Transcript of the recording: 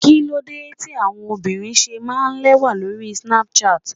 Kíló dé tí àwọn obìnrin ṣe máa ń lẹ́wà lórí Snapchat?